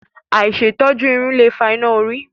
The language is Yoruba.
Àìṣètọ́jú irun lè fa iná orí.